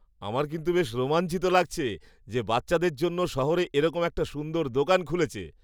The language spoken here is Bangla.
আমার কিন্তু বেশ রোমাঞ্চিত লাগছে যে বাচ্চাদের জন্য শহরে এরকম একটা সুন্দর দোকান খুলেছে।